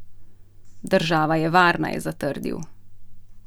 Država je varna, je zatrdil.